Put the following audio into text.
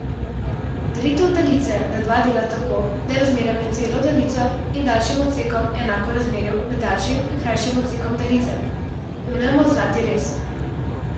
Delitev daljice na dva dela tako, da je razmerje med celo daljico in daljšim odsekom enako razmerju med daljšim in krajšim odsekom daljice, imenujemo zlati rez.